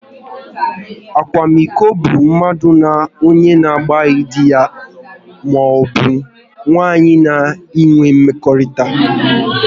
Akwamiko bụ mmadu na onye na abụghị dị ya maọbụ nwunye ya ịnwe mmekọrịta